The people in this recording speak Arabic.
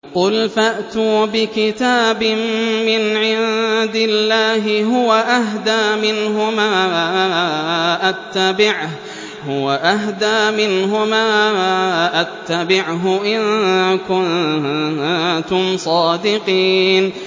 قُلْ فَأْتُوا بِكِتَابٍ مِّنْ عِندِ اللَّهِ هُوَ أَهْدَىٰ مِنْهُمَا أَتَّبِعْهُ إِن كُنتُمْ صَادِقِينَ